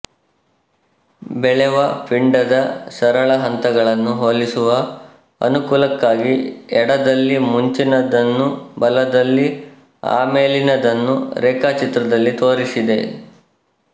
ಬೆಳೆವ ಪಿಂಡದ ಸರಳ ಹಂತಗಳನ್ನು ಹೋಲಿಸುವ ಅನುಕೂಲಕ್ಕಾಗಿ ಎಡದಲ್ಲಿ ಮುಂಚಿನದನ್ನೂ ಬಲದಲ್ಲಿ ಆಮೇಲಿನದನ್ನೂ ರೇಖಾಚಿತ್ರದಲ್ಲಿ ತೋರಿಸಿದೆ